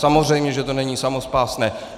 Samozřejmě že to není samospásné.